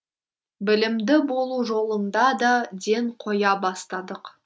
білімді болу жолында да ден қоя бастадық